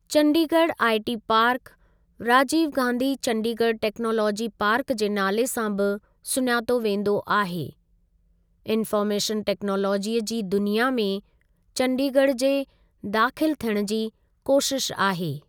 Chandigarh IT park ,Rajiv Gandhi Chandigarh technology park जे नाले सां बि सुञातो वेंदो आहे इन्फॉर्मेशन टेक्नोलॉजीअ जी दुनिया में चंडीगढ़ जे दाख़िल थियण जी कोशिश आहे।